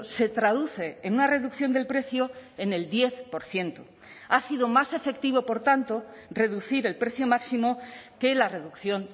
se traduce en una reducción del precio en el diez por ciento ha sido más efectivo por tanto reducir el precio máximo que la reducción